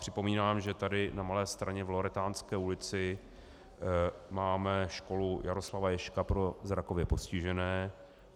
Připomínám, že tady na Malé Straně v Loretánské ulici máme Školu Jaroslava Ježka pro zrakově postižené.